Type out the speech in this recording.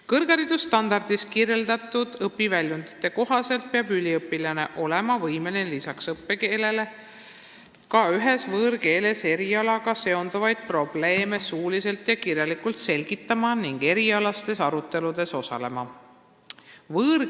" Kõrgharidusstandardis kirjeldatud õpiväljundite kohaselt peab üliõpilane olema võimeline erialaga seonduvaid probleeme suuliselt ja kirjalikult selgitama ning osalema erialastes aruteludes lisaks õppekeelele ka ühes võõrkeeles.